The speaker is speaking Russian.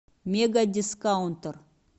мега дискаунтер